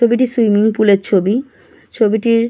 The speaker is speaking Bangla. ছবিটি সুইমিং পুলের ছবি ছবিটির--